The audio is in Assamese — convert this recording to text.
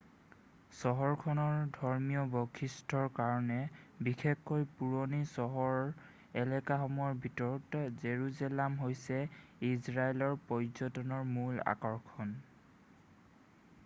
চহৰখনৰ ধৰ্মীয় বৈশিষ্ট্যৰ কাৰণে বিশেষকৈ পুৰণি চহৰ এলেকাসমূহৰ ভিতৰত জেৰুজালেম হৈছে ইজৰাইলৰ পৰ্যটনৰ মূল আকৰ্ষণ